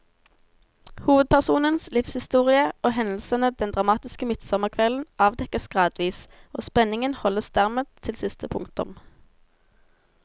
Hovedpersonens livshistorie og hendelsene den dramatiske midtsommerkvelden avdekkes gradvis, og spenningen holdes dermed til siste punktum.